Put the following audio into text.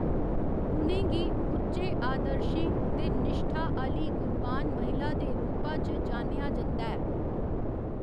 उ'नें गी उच्चे आदर्शें ते निश्ठा आह्‌ली गुणवान महिला दे रूपा च जानेआ जंदा ऐ।